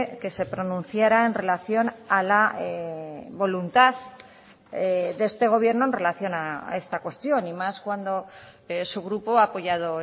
que se pronunciara en relación a la voluntad de este gobierno en relación a esta cuestión y más cuando su grupo ha apoyado